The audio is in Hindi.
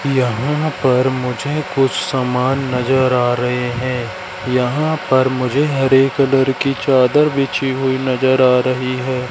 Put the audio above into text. यहां पर मुझे कुछ समान नजर आ रहे हैं यहां पर मुझे हरे कलर की चादर बिछी हुई नजर आ रही है।